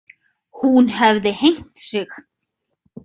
Hún hefði hengt sig.